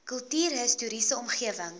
kultuurhis toriese omgewing